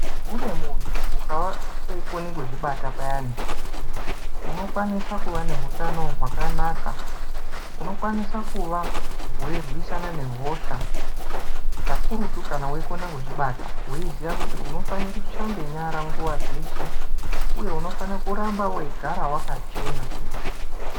Kune muntu ukava weikone kuzvibata payani unokwanise kuva neutano hwakanaka unokwanise kuva weirwisana nehosha kakurutu kana weikona kuzvibata weiziya kuti unofane kushambe nyara nguwa dzeshe uye unofane kuramba weigara wakachena.